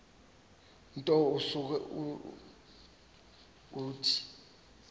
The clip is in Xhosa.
nto usuke uthi